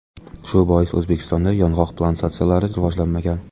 Shu bois O‘zbekistonda yong‘oq plantatsiyalari rivojlanmagan.